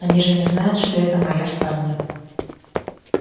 они же не знают что это моя спальня